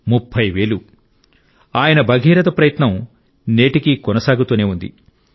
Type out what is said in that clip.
30 వేలు ఆయన భగీరథ ప్రయత్నం నేటికీ కొనసాగుతూనే ఉంది